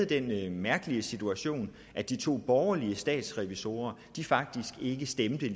den mærkelige situation at de to borgerlige statsrevisorer faktisk ikke stemte